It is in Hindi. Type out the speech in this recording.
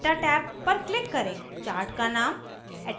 data टैब पर click करें chart का name